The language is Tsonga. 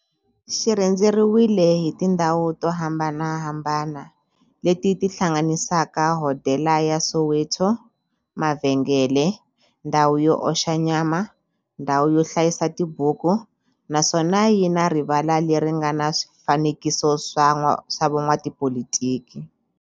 Xi rhendzeriwile hi tindhawu to hambanahambana le ti hlanganisaka, hodela ya Soweto, mavhengele, ndhawu yo oxa nyama, ndhawu yo hlayisa tibuku, naswona yi na rivala le ri nga na swifanekiso swa vo n'watipolitiki.